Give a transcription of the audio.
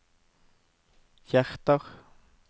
hjerter